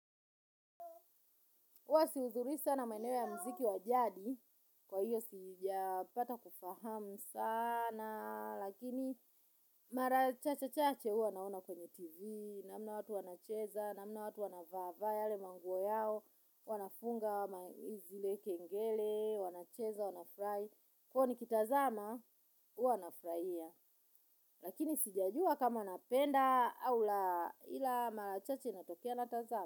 Huwa sihudhurii sana maeneo ya mziki wa jadi, kwa hivyo sijapata kufahamu sana, lakini mara chache chache huwa naona kwenye tv, namna watu wanacheza, namna watu wanavaavaa yale manguo yao, wanafunga zile kengele, wanacheza, wanafurahi, kwa hivyo nikitazama, huwa nafurahia lakini sijajua kama napenda au la ila marachache natokea natazama.